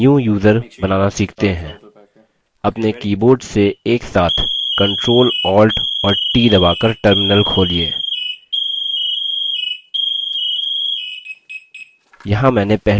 अपने keyboard से एक साथ ctrl alt और t दबा कर terminal खोलिए